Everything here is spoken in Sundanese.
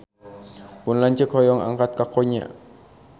Pun lanceuk hoyong angkat ka Konya